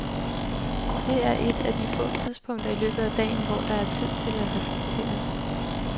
Det er et af de få tidspunkter i løbet af dagen, hvor der er tid til at reflektere.